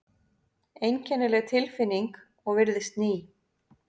Einkennileg tilfinning og virðist ný.